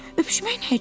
Öpüşmək nə üçün?